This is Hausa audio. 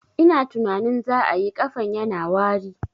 Ina tunanin za ayi, ƙafan yana wari